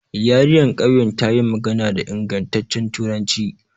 Yarinyar ƙauyen ta yi magana da ingantaccen turanci.